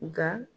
Nga